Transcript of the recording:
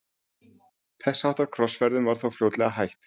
þess háttar krossferðum var þó fljótlega hætt